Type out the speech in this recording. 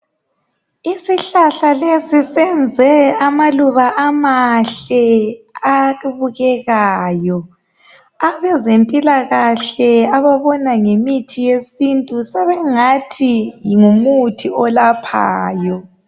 isihlahla lsisiyenze amaluba amahle abukekayo abezempilakahle ababona ngemithi yesintu sebengathi ngumuthi olaphayo